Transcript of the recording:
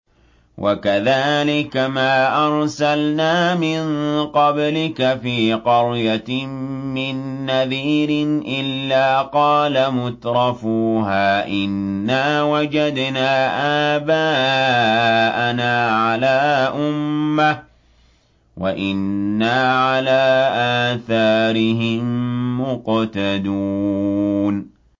وَكَذَٰلِكَ مَا أَرْسَلْنَا مِن قَبْلِكَ فِي قَرْيَةٍ مِّن نَّذِيرٍ إِلَّا قَالَ مُتْرَفُوهَا إِنَّا وَجَدْنَا آبَاءَنَا عَلَىٰ أُمَّةٍ وَإِنَّا عَلَىٰ آثَارِهِم مُّقْتَدُونَ